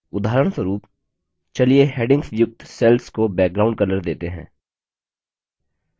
उदाहरणस्वरूप चलिए headings युक्त cells को background color देते हैं